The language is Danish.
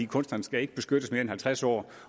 kunstneren skal ikke beskyttes mere end halvtreds år